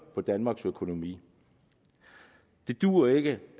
på danmarks økonomi det duer ikke